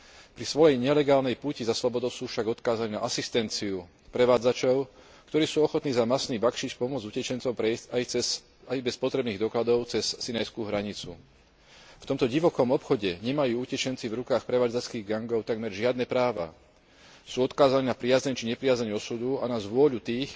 Pri svojej nelegálnej púti za slobodou sú však odkázaní na asistenciu prevádzačov, ktorí sú ochotní za mastný bakšiš pomôcť utečencom prejsť aj bez potrebných dokladov cez sinajskú hranicu. V tomto divokom obchode nemajú utečenci v rukách prevádzačských gangov takmer žiadne práva, sú odkázaní na priazeň či nepriazeň osudu a na svojvôľu tých,